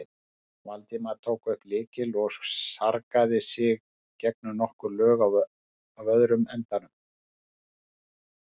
Valdimar tók upp lykil og sargaði sig gegnum nokkur lög á öðrum endanum.